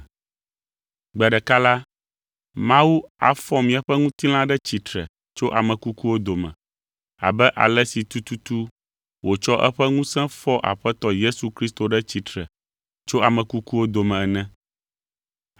Gbe ɖeka la, Mawu afɔ miaƒe ŋutilã ɖe tsitre tso ame kukuwo dome, abe ale si tututu wòtsɔ eƒe ŋusẽ fɔ Aƒetɔ Yesu Kristo ɖe tsitre tso ame kukuwo dome ene.